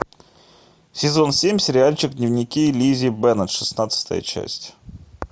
сезон семь сериальчик дневники лиззи беннет шестнадцатая часть